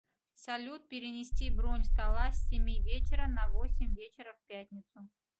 салют перенести бронь стола с семи вечера на восемь вечера в пятницу